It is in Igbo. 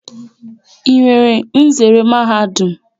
Ị nwere nzere Mahadum?